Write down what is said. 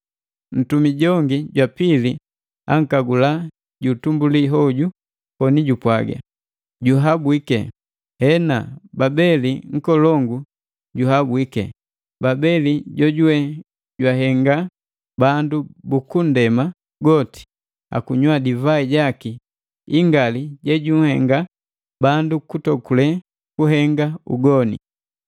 Ntumi jongi jwa pili ankagula ju utumbuli hoju koni jupwaga, “Juhabwike! Hena Babeli nkolongu juhabwike! Babeli jojuwe jwahenga bandu bukunndema goti akunywa divai jaki ingali jejunhenga bandu kutokule kuhenga ugoni!”